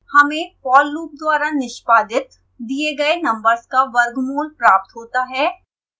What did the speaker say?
हमें for loop द्वारा निष्पादित दिए गए नम्बर्स का वर्गमूल प्रात होता है